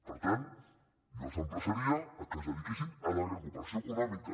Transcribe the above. per tant jo els emplaçaria que es dediquessin a la recuperació econòmica